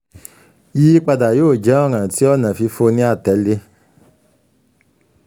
yiyipada yoo jẹ ọran ti ọna fifo ni atẹle